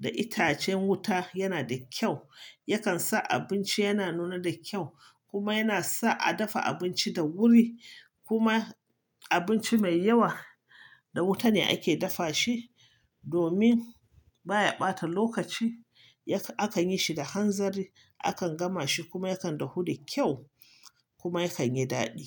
da itacen wuta yana da kyau. Yakan sa abinci yana nuna da kyau kuma yana sa a dafa abinci da wuri. Kuma abinci mai yawa da wuta ne ake dafa shi domin baya ɓata lokaci. Yakan, aka yi shi da hanzari, akan gama shi kuma yakan dahu da kyau kuma yakan yi daɗi.